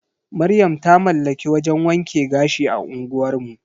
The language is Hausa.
Maryam ta mallaki wajan wanke gashi a unguwar mu.